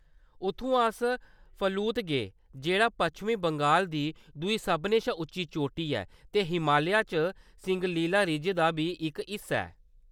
उत्थुआं अस फलूत गे जेह्‌‌ड़ा पश्चिम बंगाल दी दूई सभनें शा उच्ची चोटी ऐ ते हमालिया च सिंगलिला रिज दा बी इक हिस्सा ऐ।